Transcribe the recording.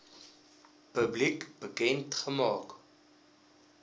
publiek bekend gemaak